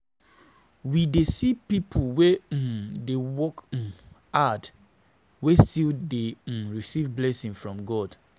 We dey see pipo wey um dey work um hard wey still dey um receive blessing from God.